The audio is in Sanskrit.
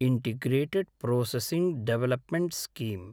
integrated processing development scheme